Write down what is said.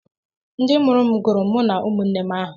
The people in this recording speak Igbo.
Ndị mụrụ m gụrụ mụ na ụmụnne m aha